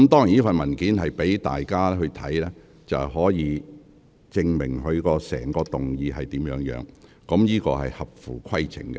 這份文件供大家參閱，以證明其議案所述的情況屬實，這做法是合乎規程的。